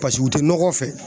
u tɛ nɔgɔ fɛ